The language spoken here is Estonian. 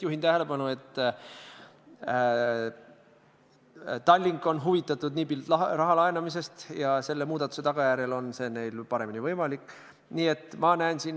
Kuidas te ikkagi tõmbaksite piiri, rahustaksite maha, et seda ei ole, Eesti saab selle kõik omale ja keegi teine midagi ei saa?